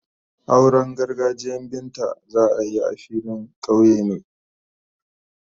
Auren gargajiyan Binta za a yi a filin kauye ne.